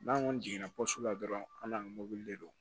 N'an kɔni jiginna la dɔrɔn an n'an ka mɔbili de don